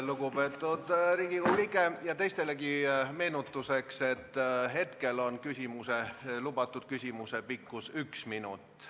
Lugupeetud Riigikogu liige, ja teistelegi meenutuseks, et küsimuse lubatud pikkus on üks minut.